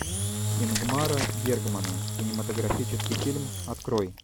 ингмара бергмана кинематографический фильм открой